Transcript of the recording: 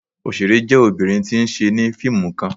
Oṣere jẹ obinrin ti n ṣe ni fiimu kan